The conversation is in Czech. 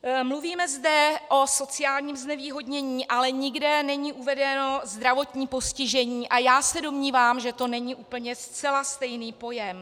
Mluvíme zde o sociálním znevýhodnění, ale nikde není uvedeno zdravotní postižení a já se domnívám, že to není úplně zcela stejný pojem.